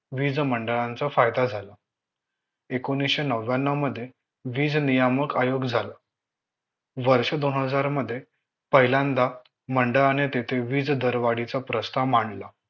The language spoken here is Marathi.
वीज मंडळांचा फायदा झाला एकोणीशे नव्याणव मध्ये वीज नियामक आयोग झालं वर्ष दोन हजार मध्ये पहिल्यांदा मंडळाने तेथे वीज दरवाढीचा प्रस्ताव मांडला